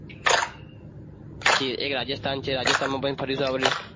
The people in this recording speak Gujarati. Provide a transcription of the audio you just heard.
પછી એક રાજસ્થાન છે રાજસ્થાનમાં પણ ફરી શું આપણે